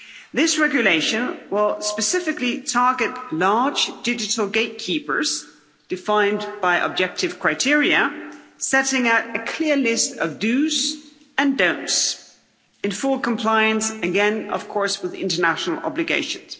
This regulation will specifically target large digital gatekeepers defined by objective criteria, setting out a clear list of dos and don'ts' in full compliance again, of course, with international obligations.